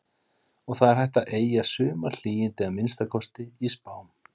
Og það er hægt að eygja sumarhlýindi, að minnsta kosti í spám.